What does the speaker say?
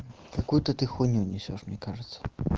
какую-то ты хуйню несёшь мне кажется